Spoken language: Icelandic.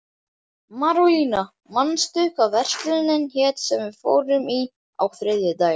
Marólína, manstu hvað verslunin hét sem við fórum í á þriðjudaginn?